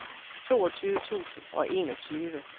toogtyve tusind og enogtyve